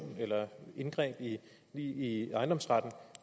eller ændring i i ejendomsretten